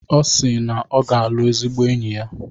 Ọ si na ọ ga-alụ ezigbo enyi ya.